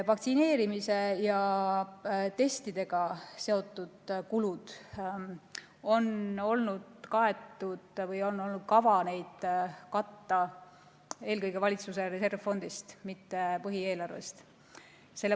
Vaktsineerimise ja testimisega seotud kulud on kaetud või on olnud kavas neid katta eelkõige valitsuse reservfondist, mitte põhieelarvest.